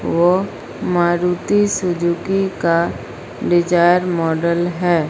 वो मारुति सुजुकी का Dzire model है।